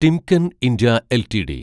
Timken India LTD